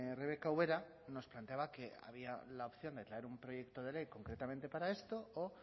rebeka ubera nos planteaba que había la opción de traer un proyecto de ley concretamente para esto o